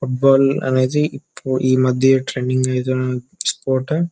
Football అనేది ఈ మధ్య ట్రేండింగ్ ఐఎండీ స్పోర్ట్ .